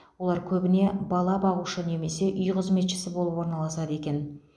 олар көбіне бала бағушы немесе үй қызметшісі болып орналасады екен